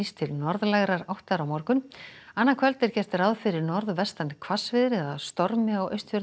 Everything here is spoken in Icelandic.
til norðlægrar áttar á morgun annað kvöld er gert ráð fyrir norðvestan hvassviðri eða stormi á Austfjörðum